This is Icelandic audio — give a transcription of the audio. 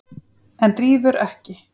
En rífur ekki.